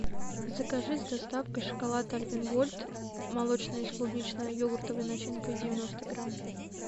закажи с доставкой шоколад альпен гольд молочный с клубнично йогуртовой начинкой девяносто грамм